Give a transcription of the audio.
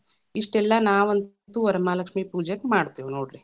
ಇಷ್ಟೆಲ್ಲಾ ನಾವಂತು ವರಮಹಾಲಕ್ಷ್ಮೀ ಪೂಜೆಕ್ ಮಾಡ್ತೇವ್‌ ನೋಡ್ರಿ.